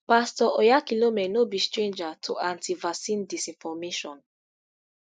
pastor oyakhilome no be stranger to antivaccine disinformation